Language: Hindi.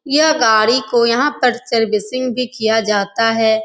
यह गाड़ी को यहां पर सर्विसिंग भी किया जाता है।